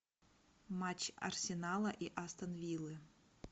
матч арсенала и астон виллы